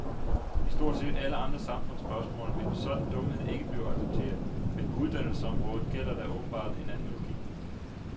I stort set alle andre samfundsspørgsmål vil en sådan dumhed ikke blive accepteret, men på uddannelsesområdet gælder der åbenbart en anden logik.